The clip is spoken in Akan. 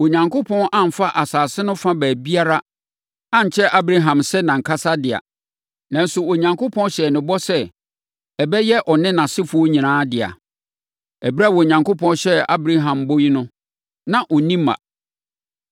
Onyankopɔn amfa asase no fa baabiara ankyɛ Abraham sɛ nʼankasa dea. Nanso, Onyankopɔn hyɛɛ no bɔ sɛ ɛbɛyɛ ɔne nʼasefoɔ nyinaa dea. Ɛberɛ a Onyankopɔn hyɛɛ Abraham bɔ yi no, na ɔnni mma.